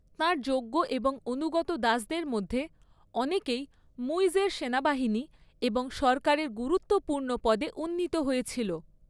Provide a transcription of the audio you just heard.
তাঁর যোগ্য এবং অনুগত দাসদের মধ্যে অনেকেই মুইজের সেনাবাহিনী এবং সরকারের গুরুত্বপূর্ণ পদে উন্নীত হয়েছিল।